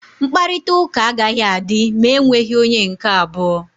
Mkparịta ụka agaghị adị ma e nweghị onye nke abụọ.